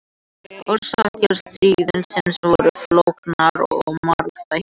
Orsakir stríðsins voru flóknar og margþættar.